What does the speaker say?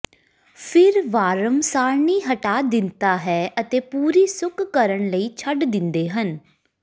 ਫਿਰ ਫਾਰਮ ਸਾਰਣੀ ਹਟਾ ਦਿੱਤਾ ਹੈ ਅਤੇ ਪੂਰੀ ਸੁੱਕ ਕਰਨ ਲਈ ਛੱਡ ਦਿੰਦੇ ਹਨ